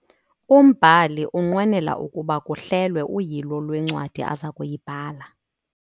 Umbhali unqwenela ukuba kuhlelwe uyilo lwencwadi aza kuyibhala.